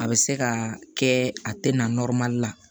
A bɛ se ka kɛ a tɛ na la